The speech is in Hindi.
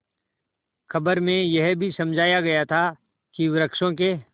खबर में यह भी समझाया गया था कि वृक्षों के